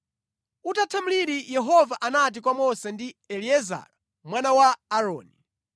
Utatha mliri Yehova anati kwa Mose ndi Eliezara mwana wa Aaroni,